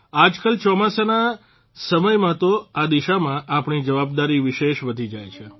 આજકાલ ચોમાસાના સમયમાં તો આ દિશામાં આપણી જવાબદારી વિશેષ વધી જાય છે